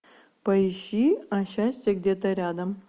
поищи а счастье где то рядом